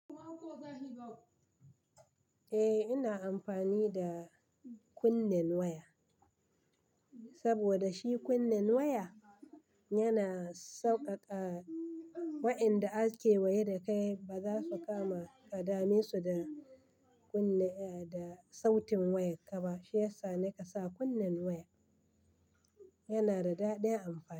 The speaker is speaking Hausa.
Eh, ina amfani da kunnen waya saboda shi kunnen waya yana sauƙaƙa wa'inda ake wayar da kai ba za su kama kadame su da kunne da sautin wayar kaba. Shi yasa na kasa kunnen waya yana da daɗin amfani.